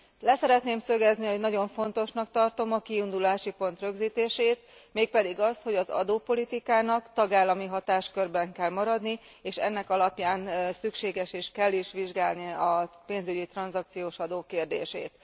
Le szeretném szögezni, hogy nagyon fontosnak tartom a kiindulási pont rögzítését, mégpedig azt, hogy az adópolitikának tagállami hatáskörben kell maradni, és ennek alapján szükséges és kell is vizsgálni a pénzügyi tranzakciós adó kérdését.